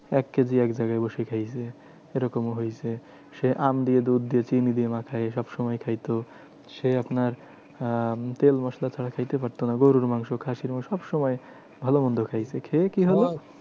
এক কেজি এক জায়গায় বসে খেয়েছে। এরকমও হয়েছে সে আম দিয়ে দুধ দিয়ে চিনি দিয়ে মাকায়ে সবসময় খাইতো। সে এখন আর আহ তেল মসলা ছাড়া খাইতে পারতো না। গরুর মাংস খাসির মাংস সবসময় ভালো মন্দ খাইছে। খেয়ে কি হলো?